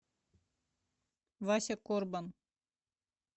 вася корбан